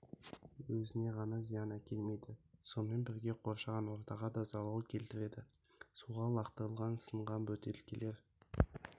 өзіне ғана зиян әкелмейді сонымен бірге қоршаған ортаға да залал келтіреді суға лақтырылған сынған бөтелкелер